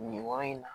Nin yɔrɔ in na